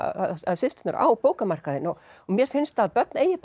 systurnar á bókamarkaðinn mér finnst að börn eigi